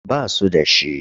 Ba su da shi.